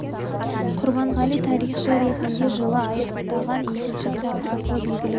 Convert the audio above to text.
құрбанғали тарихшы ретінде жылы аяқтаған екінші кітабы арқылы белгілі болды